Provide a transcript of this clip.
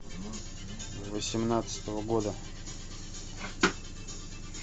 восемнадцатого года